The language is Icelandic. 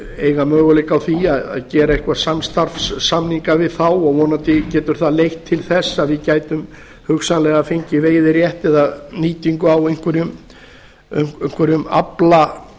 eiga möguleika á því að gera einhverja samstarfssamninga við þá og vonandi getur það leitt til þess að við gætum hugsanlega fengið veiðirétt eða nýtingu á einhverjum afla